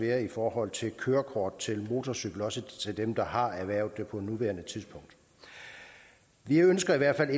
være i forhold til kørekort til motorcykel også til dem der har erhvervet det på nuværende tidspunkt vi ønsker i hvert